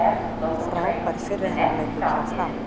Frábær fyrri hálfleikur hjá Fram